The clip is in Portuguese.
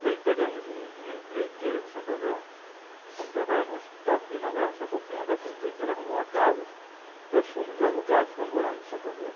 E aí pegamos um uma empreiteira de Santo André, fomos trabalhar num hospital aqui na Grana Sapopemba, essa empreiteira arrumou uma casa, nós fomos alugar e ficamos morando em Santo André.